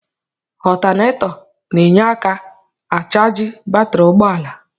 Ọtanetọ na-enye aka achaji batri ụgbọala.